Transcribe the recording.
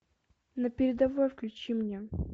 на передовой включи мне